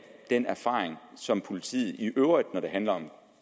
den erfaring som politiet i øvrigt har når det handler om